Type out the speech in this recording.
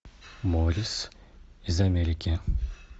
морис из америки